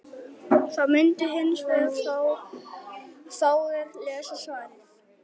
Við sjáum bara neitt sko.